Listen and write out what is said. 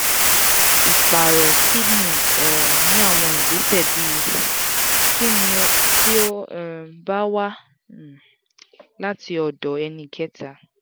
iparo kidney um ni awọn igbesẹ bii? kini ti o um ba wa um lati ọdọ ẹnikẹta?